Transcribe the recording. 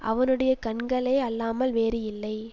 அவனுடையக் கண்களே அல்லாமல் வேறு இல்லை